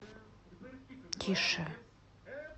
тише